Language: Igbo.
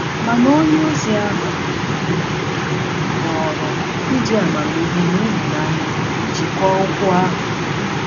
Mana onye ozi ahụ họọrọ iji amamihe na ịhụnanya jikwaa okwu ahụ.